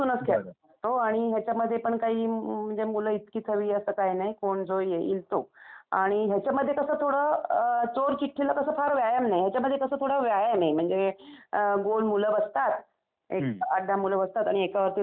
हो आणि याच्यामध्ये पण काही म्हणजे मुलं इतकीच हवी असं काही नाही. कोण जो येईल तो. आणि याच्यामध्ये कस थोडं चोरचिठ्ठीला कसं फार व्यायाम नाही, याच्यामध्ये कसं थोडं व्यायाम आहे. अम गोल मुलं बसतात, एक 8-10 मुलं बसतात आणि एकावरती राज्य द्यायचं.